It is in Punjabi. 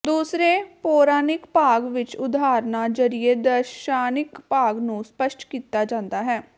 ਦੂਸਰੇ ਪੌਰਾਣਿਕ ਭਾਗ ਵਿਚ ਉਦਾਹਰਨਾਂ ਜ਼ਰੀਏ ਦਾਰਸ਼ਨਿਕ ਭਾਗ ਨੂੰ ਸਪਸ਼ਟ ਕੀਤਾ ਜਾਂਦਾ ਹੈ